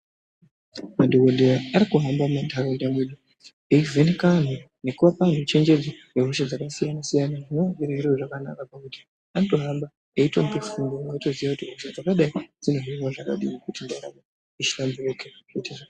Madhogodheya arikuhamba muntaraunda mwedu, eyivheneka antu nekupe chenjedzo pahosha dzakasiyana-siyana zvinova zviri zviro zvakanaka pakuti anotohamba eitope fundo, zvekuti munotoziye kuti hosha dzakadai inohinwa zvakadini kuti ndaramo ishanduke.